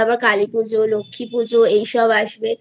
কালীপুজো লক্ষ্মীপুজো এসব আসবে